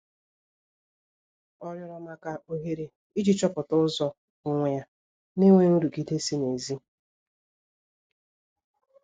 Ọ rịorọ maka ohere iji chọpụta ụzọ onwe ya n'enweghi nrụgide si n'ezi